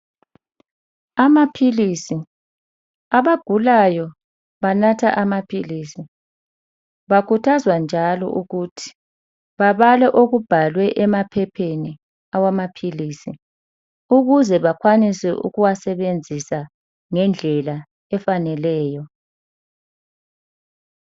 Amaphilisi, abagulayo banatha amaphilisi . Bakhuthazwa njalo ukuthi babale okubhalwe emaphepheni awamaphilisi ukuze bakwanise ukuwasebenzisa ngendlela efaneleyo .